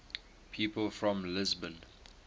people from lisbon